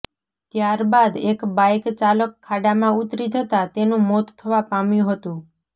ત્યાર બાદ એક બાઇક ચાલક ખાડામાં ઉતરી જતા તેનું મોત થવા પામ્યું હતું